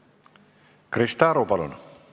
Krista Aru, palun!